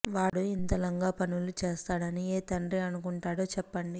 వాడు ఇంత లంగపనులు చేస్తాడని ఏ తండ్రి అనుకుంటాడో చెప్పండి